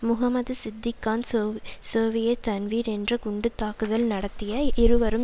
முகம்மது சித்திக் கான் சோ சோவியட் டன்வீர் என்ற குண்டு தாக்குதல் நடாத்திய இருவரும்